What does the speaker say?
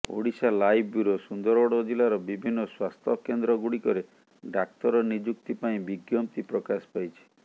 Odisha live bureau Sundargarh ଜିଲ୍ଲାର ବିଭିନ୍ନ ସ୍ବାସ୍ଥ୍ୟକେନ୍ଦ୍ରଗୁଡ଼ିକରେ ଡାକ୍ତର ନିଯୁକ୍ତି ପାଇଁ ବିଜ୍ଞପ୍ତି ପ୍ରକାଶ ପାଇଛି